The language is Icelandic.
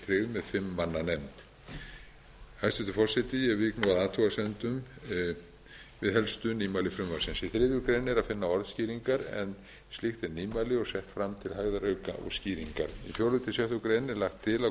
tryggð með fimm manna nefnd hæstvirtur forseti ég vík nú að athugasemdum við helstu nýmæli frumvarpsins í þriðju grein er að finna orðskýringar en slíkt er nýmæli og sett fram til hægðarauka og skýringar í fjórða til sjöttu grein er lagt til að